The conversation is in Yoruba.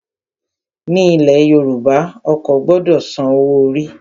Ní ilẹ̀ Yorùbá, ọkọ gbọdọ san owó orí.